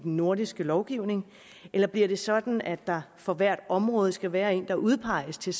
nordiske lovgivning eller bliver det sådan at der for hvert område skal være en der udpeges til